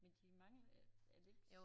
Men de mangler er det ikke